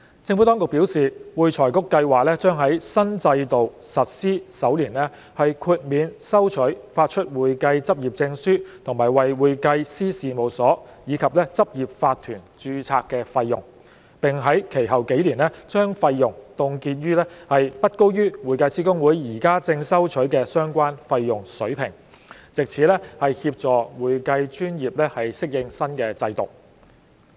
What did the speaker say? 政府當局表示，會財局計劃將在新制度實施首年豁免收取發出會計執業證書和為會計師事務所及執業法團註冊的費用，並在其後數年將費用凍結在不高於會計師公會現正收取的相關費用水平，藉此協助會計專業適應新制度。